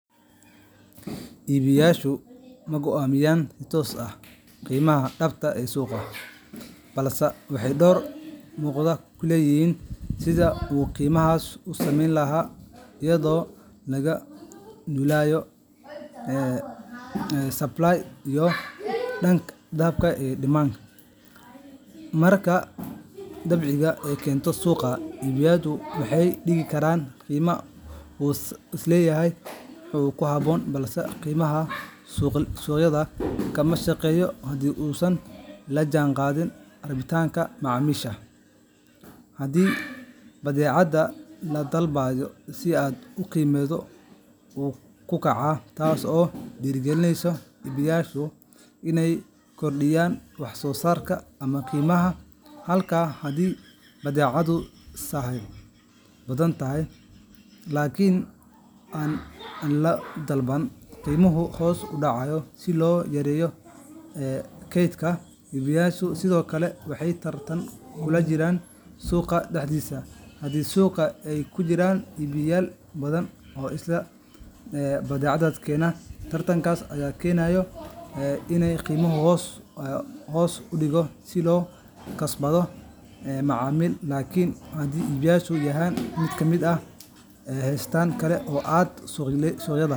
Iibiyeyaashu ma go’aamiyaan si toos ah qiimaha dhabta ah ee suuqa, balse waxay door muuqda ku leeyihiin sidii uu qiimahaas u samaysmi lahaa, iyadoo laga duulayo isdhexgalka sahayda supply iyo dalabka demand. Marka badeecad la keeno suuqa, iibiyuhu wuxuu dhigi karaa qiime uu isleeyahay waa ku habboon, balse qiimahaasi suuqyada kama shaqeeyo haddii uusan la jaanqaadin rabitaanka macaamiisha. Haddii badeecad la dalbado si aad ah, qiimuhu wuu kacaa, taas oo dhiirrigelisa iibiyeyaasha inay kordhiyaan wax-soo-saarka ama qiimaha, halka haddii badeecaddu sahay badan leedahay laakiin aan la dalban, qiimuhu hoos u dhacayo si loo yareeyo kaydka. Iibiyeyaasha sidoo kale waxay tartan kula jiraan suuqa dhexdiisa; haddii suuqa ay ku jiraan iibiyeyaal badan oo isla badeecad keena, tartankaas ayaa keena in qiimaha hoos loo dhigo si loo kasbado macaamiil. Laakiin haddii iibiyuhu yahay mid gaar ah ama haysta wax kale oo aan suuqyada .